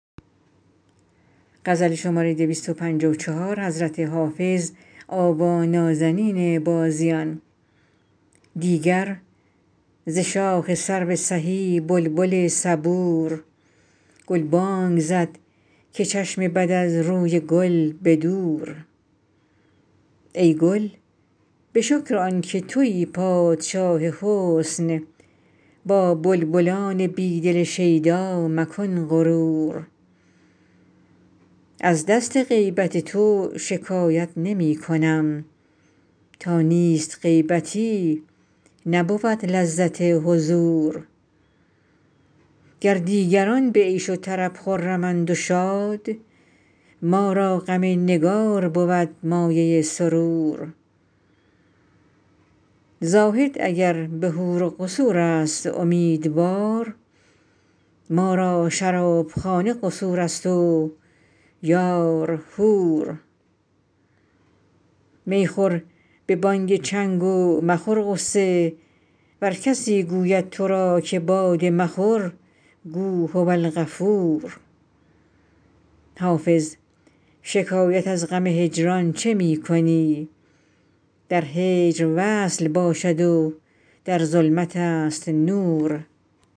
دیگر ز شاخ سرو سهی بلبل صبور گلبانگ زد که چشم بد از روی گل به دور ای گل به شکر آن که تویی پادشاه حسن با بلبلان بی دل شیدا مکن غرور از دست غیبت تو شکایت نمی کنم تا نیست غیبتی نبود لذت حضور گر دیگران به عیش و طرب خرمند و شاد ما را غم نگار بود مایه سرور زاهد اگر به حور و قصور است امیدوار ما را شرابخانه قصور است و یار حور می خور به بانگ چنگ و مخور غصه ور کسی گوید تو را که باده مخور گو هوالغفور حافظ شکایت از غم هجران چه می کنی در هجر وصل باشد و در ظلمت است نور